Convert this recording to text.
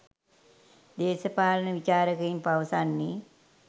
දේශපාලන විචාරකයින් පවසන්නේ